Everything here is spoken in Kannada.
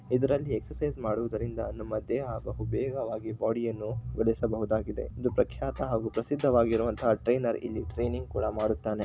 ಇದರಲ್ಲಿ ಎಕ್ಸರ್ಸೈಜ್ ಮಾಡುವುದರಿಂದ ನಮ್ಮ ದೇಹ ಬಹುಬೇಗವಾಗಿ ಬಾಡಿಯನ್ನು ಭರಿಸಬಹುದಾಗಿದೆ ಇದು ಪ್ರಖ್ಯಾತ ಹಾಗೂ ಪ್ರಸಿದ್ಧವಗಿರುವಂತಹ ಟ್ರೈನರ್ ಇಲ್ಲಿ ಟ್ರೈನಿಂಗ್ ಕೂಡ ಮಾಡುತ್ತಾನೆ.